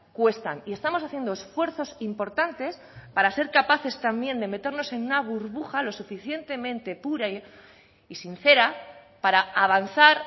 cuestan y estamos haciendo esfuerzos importantes para ser capaces también de meternos en una burbuja lo suficientemente pura y sincera para avanzar